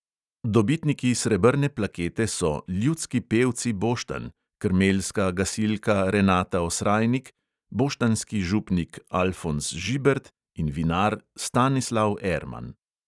Dobitniki srebrne plakete so ljudski pevci boštanj, krmeljska gasilka renata osrajnik, boštanjski župnik alfonz žibert in vinar stanislav erman.